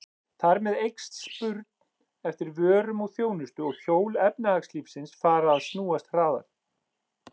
Þar með eykst spurn eftir vörum og þjónustu og hjól efnahagslífsins fara að snúast hraðar.